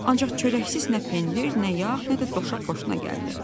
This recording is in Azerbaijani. Ancaq çörəksiz nə pendir, nə yağ, nə də doşab xoşuna gəldi.